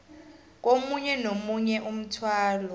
komunye nomunye umthwalo